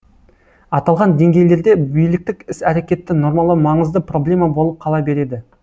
аталған деңгейлерде биліктік іс әрекетті нормалау маңызды проблема болып кала береді